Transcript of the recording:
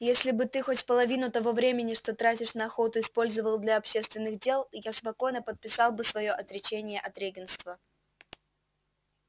если бы ты хоть половину того времени что тратишь на охоту использовал для общественных дел я спокойно подписал бы своё отречение от регентства